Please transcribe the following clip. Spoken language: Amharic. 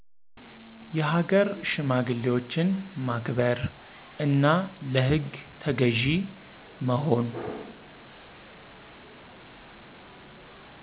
የሃገር ሽማግሌዎችን ማክበር፣ እና ለህግ ተገዥ መሆን።